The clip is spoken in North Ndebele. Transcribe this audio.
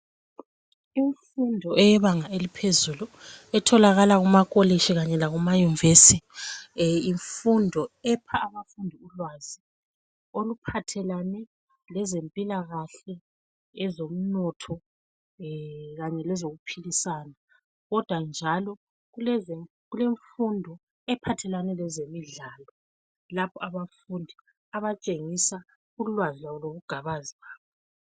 Imfundo eyebanga eliphezulu etholakala kumakolitshi kanye lamayunivesi, yimfundo epha abafundi ulwazi oluphathelane lezempilakahle, ezomnotho kanye lezokuphikisana kodwa njalo kulemfundo ephathelane lezemidlalo lapho abafundi abatshengisa ulwazi lwabo lobugabazi.